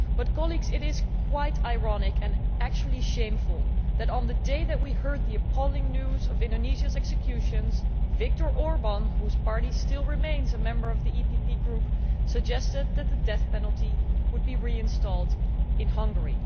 Colleagues, it is quite ironic, and actually shameful that on the day that we heard the appalling news of Indonesia's executions, Viktor Orbán, whose party still remains a member of the PPE Group, suggested that the death penalty would be reinstated in Hungary.